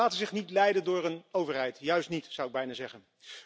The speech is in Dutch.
Zij laten zich niet leiden door een overheid, juist niet, zou ik bijna zeggen.